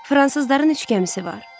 Fransızların üç gəmisi var.